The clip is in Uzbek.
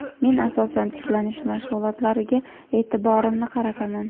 Men asosan tiklanish mashg‘ulotlariga e’tiborimni qarataman.